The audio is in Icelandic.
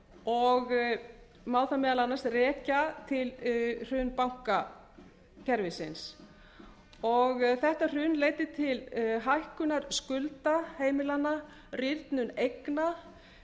og má það meðal annars rekja til hruns bankakerfisins þetta hrun leiddi til hækkunar skulda heimilanna rýrnunar eigna